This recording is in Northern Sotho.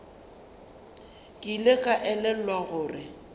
ke ile ka elelwa gore